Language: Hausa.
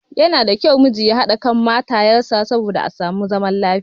Yana da kyau miji ya haɗa kan matayen sa saboda a samu zaman lafiya.